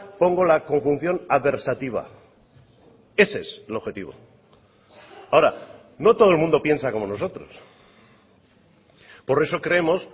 pongo la conjunción adversativa ese es el objetivo ahora no todo el mundo piensa como nosotros por eso creemos